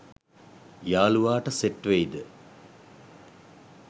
යලුවාට set වෙයිද